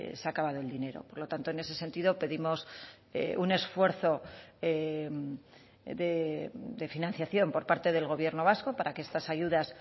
se ha acabado el dinero por lo tanto en ese sentido pedimos un esfuerzo de financiación por parte del gobierno vasco para que estas ayudas